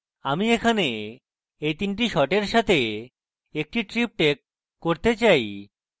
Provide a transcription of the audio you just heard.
আমি এখানে এই তিনটি শটের সাথে একটি triptych করতে চাই